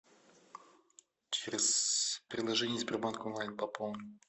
через приложение сбербанк онлайн пополни